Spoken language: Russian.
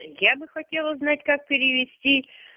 я бы хотела узнать как перевести